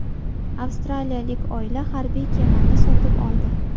Avstraliyalik oila harbiy kemani sotib oldi.